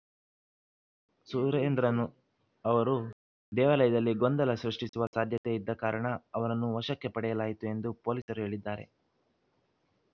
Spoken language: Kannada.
ಸುರೇಂದ್ರನ್‌ ಅವರು ದೇವಾಲಯದಲ್ಲಿ ಗೊಂದಲ ಸೃಷ್ಟಿಸುವ ಸಾಧ್ಯತೆ ಇದ್ದ ಕಾರಣ ಅವರನ್ನು ವಶಕ್ಕೆ ಪಡೆಯಲಾಯಿತು ಎಂದು ಪೊಲೀಸರು ಹೇಳಿದ್ದಾರೆ